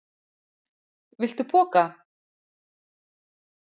Viltu poka?